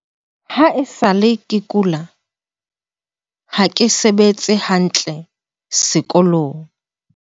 "Ha e sa le ke kula, ha ke sebetse hantle sekolong."